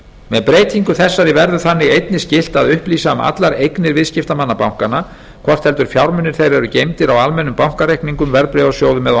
með breytingu þessari verður þannig einnig skylt að upplýsa um allar eignir viðskiptamanna bankanna hvort heldur fjármunir þeirra eru geymdir á almennum bankareikningum verðbréfasjóðum eða á